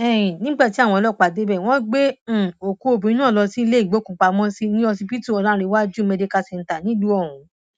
um nígbà tí àwọn ọlọpàá débẹ wọn gbé um òkú obìnrin náà lọ sílé ìgbókùúpamọsí ní ọsibítù ọlàǹrẹwájú medical center nílùú ọhún